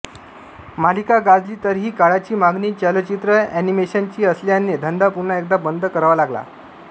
मालिका गाजली तरीही काळाची मागणी चलचित्र एनिमेशन ची असल्याने धंदा पुन्हा एकदा बंद करावा लागला